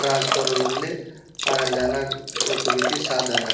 ट्रांसफर बलले आना जाना होतो बीती साधन आय।